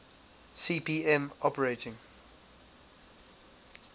cp m operating